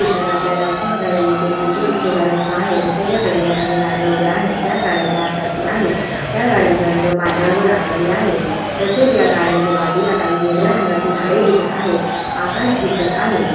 या दृश्यात आपल्याला असे बघायला मिळते की ते एक छोटा रस्ता आहे रस्त्याच्या कडेला काही गाड्या उभे आहेत त्या गाड्या चार चाकी आहेत त्या गाड्यांचा रंग पांढरा व राखाडी आहे तसेच या गाड्यांच्या बाजूला काही हिरव्या रंगाची झाडे दिसत आहेत आकाश दिसत आहे.